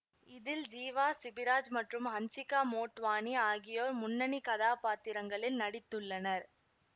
இதில் ஜீவா சிபிராஜ் மற்றும் ஹன்சிகா மோட்வானி ஆகியோர் முன்னனி கதாப்பாத்திரங்களில் நடித்துள்ளனர்